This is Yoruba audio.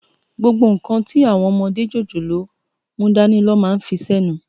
Gbógbó nkán ti áwòn òmòdé jójólóò múdàní lò má n fisènú